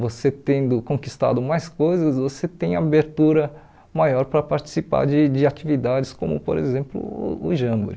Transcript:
você tendo conquistado mais coisas, você tem abertura maior para participar de de atividades como, por exemplo, o Jamboree.